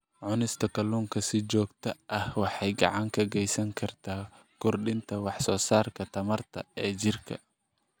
Cunista kalluunka si joogto ah waxay gacan ka geysan kartaa kordhinta wax soo saarka tamarta ee jirka.